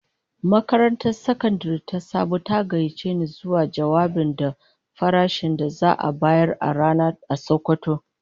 Makarantar Sakandare ta Sabo ta gayyace ni zuwa jawabinta da farashin da za'a bayar a rana a sokoto.